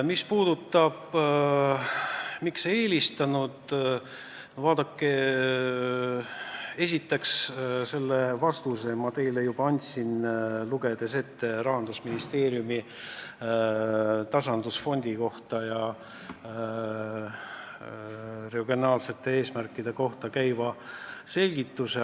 Mis puudutab teie küsimust, siis esiteks, selle vastuse ma teile juba andsin, lugedes ette Rahandusministeeriumi selgituse tasandusfondi kohta ja regionaalsete eesmärkide kohta.